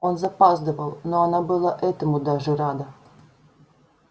он запаздывал но она была этому даже рада